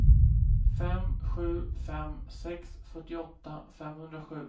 fem sju fem sex fyrtioåtta femhundrasju